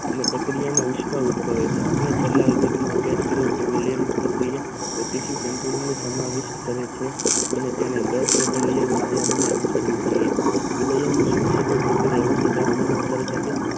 અને પ્રક્રિયાનો ઉષ્મા અનુભવે છે આપણે પેલા વિભાગ નો અભ્યસ કરીયો કે મિલાન પ્રકિયા ગતિમિષ્ઠ પ્રક્રિયા સમાવિષ્ઠ કરે છે અને તેને અનુસરવું જોઈએ જેને ઉષ્મા ક્ષેપક પ્રકિયા કહે છે તાપમાન માં વધારો સાથે.